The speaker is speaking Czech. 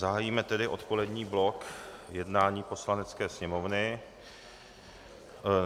Zahájíme tedy odpolední blok jednání Poslanecké sněmovny.